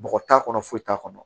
Bɔgɔ t'a kɔnɔ foyi t'a kɔnɔ